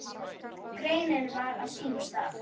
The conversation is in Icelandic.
Greinin var á sínum stað.